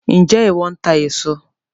Njẹ iwọ ńtà èso